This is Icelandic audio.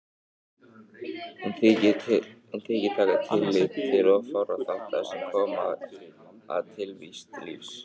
Hún þykir taka tillit til of fárra þátta sem koma að tilvist lífs.